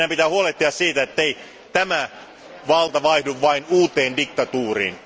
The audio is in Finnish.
Meidän pitää huolehtia siitä, ettei valta vaihdu vain uuteen diktatuuriin.